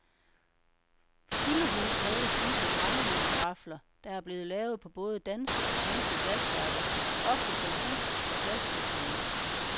Fyldehund kaldes disse brændevinskarafler, der er blevet lavet på både danske og svenske glasværker, ofte som fusk af glaspusterne.